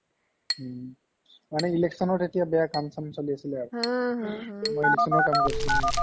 উম্ মানে election ৰ তেতিয়া বেয়া কাম চাম চলি আৰু মই election ৰ কামত গৈছিলো ইয়াত